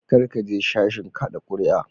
Kar ka je sashin kada kuri'a.